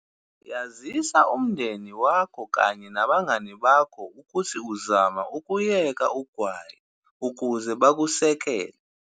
Yazisa umndeni wakho kanye nabangani ukuthi uzama ukuyeka u gwayi ukuze bakusekele.